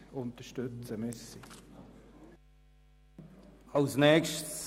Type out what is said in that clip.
Bitte unterstützen Sie den Antrag 1.